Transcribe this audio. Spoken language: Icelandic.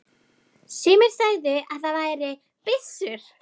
Sumir sögðu að það væri byssur.